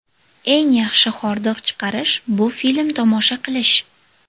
Eng yaxshi hordiq chiqarish – bu film tomosha qilish.